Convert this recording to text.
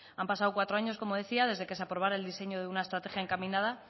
han pasado cuatro años como decía desde que se aprobara el diseño de una estrategia encaminada